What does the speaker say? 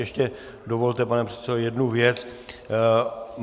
Ještě dovolte, pane předsedo, jednu věc.